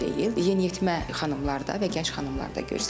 Yeniyetmə xanımlarda və gənc xanımlarda görsənir.